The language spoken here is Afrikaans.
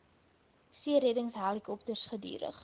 seereddings helikopters gedurig